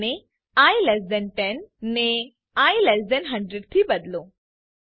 અને I less than 10 ને I less than 100 થી બદલો